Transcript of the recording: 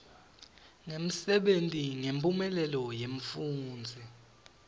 ngemsebenti nemphumelelo yemfundzi